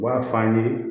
U b'a f'an ye